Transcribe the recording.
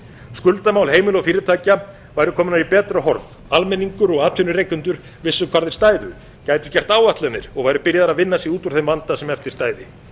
skuldamál heimila og fyrirtækja væri komin í betra horf almenningur og atvinnurekendur vissu hvar þeir stæðu gætu gert áætlanir og væru byrjaðir að vinna sig út úr þeim vanda sem eftir stæði